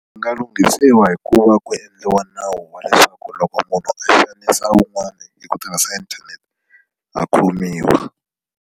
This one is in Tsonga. Ndzi nga lunghisiwa hi ku va ku endliwa nawu wa leswaku loko munhu a xanisa wun'wana hi ku tirhisa inthanete a khomiwa.